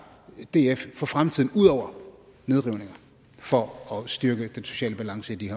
df for fremtiden ud over nedrivninger for at styrke den sociale balance i de